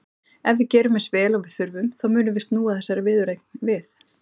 Ef við gerum eins vel og við þurfum þá munum við snúa þessari viðureign við.